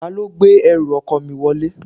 Ta ló gbé ẹrù ọkọ mi wọlé?